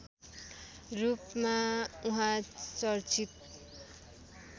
रूपमा उहाँ चर्चित